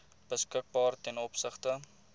beskikbaar ten opsigte